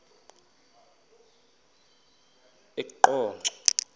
eqonco